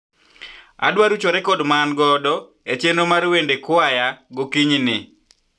adwa rucho rekod maangodo e chenro mar wende kwaya gokinyi ni